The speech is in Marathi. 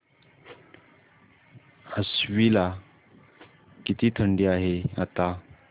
आश्वी ला किती थंडी आहे आता